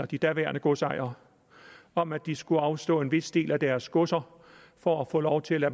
de daværende godsejere om at de skulle afstå en vis del af deres godser for at få lov til at